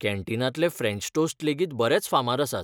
कॅन्टीनांतले French toast लेगीत बरेंच फामाद आसात.